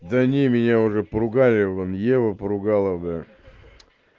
да не меня уже поругали вон его подруга